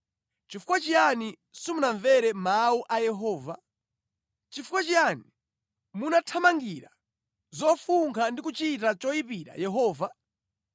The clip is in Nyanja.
Chifukwa chiyani simunamvere mawu a Yehova? Chifukwa chiyani munathamangira zofunkha ndi kuchita choyipira Yehova?”